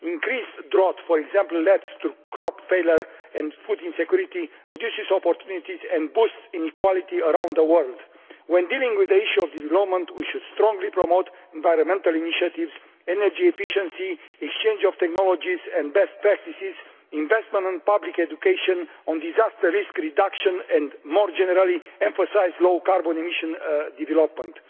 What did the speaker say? Increased drought, for example, leads to crop failure and food insecurity, reduces opportunities and boosts inequality around the world. When dealing with the issue of development, we should strongly promote environmental initiatives, energy efficiency, exchange of technologies and best practices, investment in public education and in disaster risk reduction and, more generally, emphasise low carbon emission development.